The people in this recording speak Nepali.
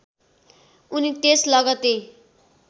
उनी त्यस लगत्तै